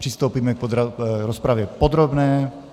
Přistoupíme k rozpravě podrobné.